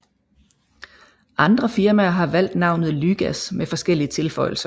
Andre firmaer har valgt navnet lygas med forskellige tilføjelser